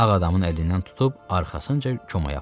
Ağ adamın əlindən tutub arxasınca komaya apardı.